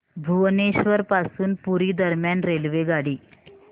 भुवनेश्वर पासून पुरी दरम्यान रेल्वेगाडी